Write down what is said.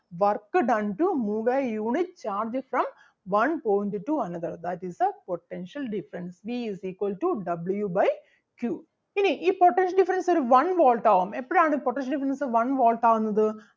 work done to move a unit charge from one point to another that is the potential difference V is equal to W by two. ഇനി ഈ potential difference ഒരു one Volt ആകും എപ്പഴാണ് potential difference one Volt ആകുന്നത്